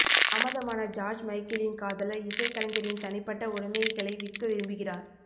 தாமதமான ஜார்ஜ் மைக்கேலின் காதலர் இசைக்கலைஞரின் தனிப்பட்ட உடமைகளை விற்க விரும்புகிறார்